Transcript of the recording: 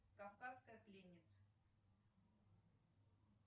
кавказская пленница